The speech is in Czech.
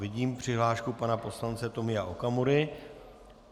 Vidím přihlášku pana poslance Tomia Okamury.